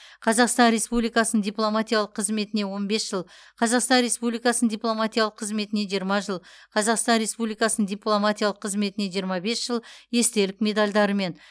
қазақстан республикасының дипломатиялық қызметіне он бес жыл қазақстан республикасының дипломатиялық қызметіне жиырма жыл қазақстан республикасының дипломатиялық қызметіне жиырма бес жыл естелік медальдарымен